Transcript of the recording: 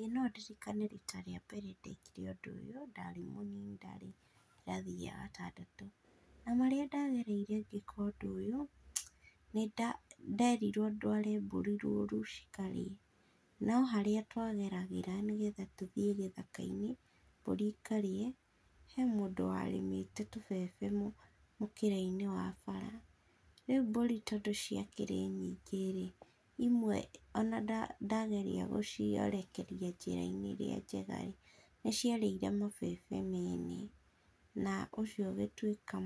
ĩĩ no ndĩrĩkane rĩta rĩa mbere ndekire ũndũ ũyũ ndarĩ mũnini darĩ dathĩaga ĩtedatũ, na marĩa ndagereire ngĩka ũndũ ũyũ nĩderirwo dware mbũri rorũ cikarĩe no harĩa twageragĩra nĩ getha tũthĩe gĩthaka inĩ mbũri ikarĩe, he mũndũ warĩmĩte tũbebe mũkĩra inĩ wa bara rĩũ tũndũ mbũrĩ cĩakĩrĩ nyinge ĩmwe ona dagerĩa gũcĩerekeria jĩra inĩ ĩrĩa jega, nĩ ciarĩire mabebe mene na ũcio ũgĩtũĩka